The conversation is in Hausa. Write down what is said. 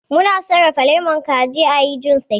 Mu na sarrafa lemon zaki ayi jus da shi